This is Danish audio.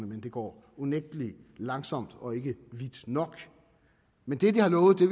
men det går unægtelig langsomt og ikke vidt nok men det de har lovet vil